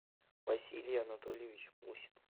василий анатольевич мусин